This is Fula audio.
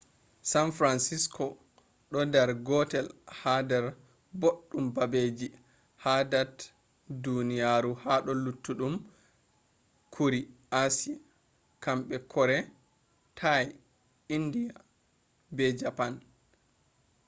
san francisco do dar gotel ha dar boɗɗum babeji ha dat duniyaru hado luttuɗum kuri asie: himɓe kore thai inde be japan